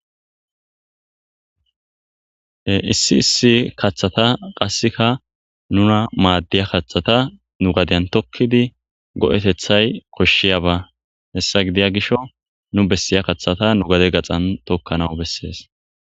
issi issi kaththata qasseka nuna maaddiya kaththata nu gadeyan tokkidi go7etethay koshshiyaba hessa gidiya gisho nu bessiya kaththata nu gade gaxan tokkana bessees